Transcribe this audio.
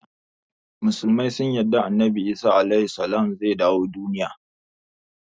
Musulmai sun yarda annabi Isa (AS) zai dawo duniya.